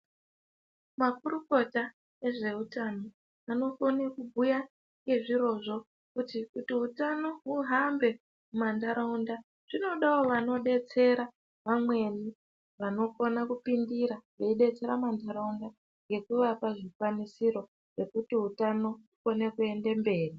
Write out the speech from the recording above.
Makurukota ezvehutano vanokone kubhuya ngezvirozvo kuti hutano huhambe mumantaraunda. Zvinodavo vanobetsera vamweni vanokona kupindira veibetsera mumantaraunda ngekuvapa zvikwanisiro zvekuti hutano ukone kuende mberi.